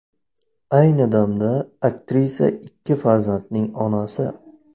Ayni damda aktrisa ikki farzandning onasi.